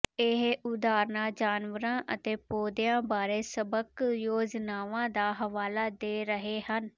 ਇਹ ਉਦਾਹਰਨਾਂ ਜਾਨਵਰਾਂ ਅਤੇ ਪੌਦਿਆਂ ਬਾਰੇ ਸਬਕ ਯੋਜਨਾਵਾਂ ਦਾ ਹਵਾਲਾ ਦੇ ਰਹੇ ਹਨ